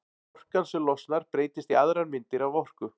Orkan sem losnar breytist í aðrar myndir af orku.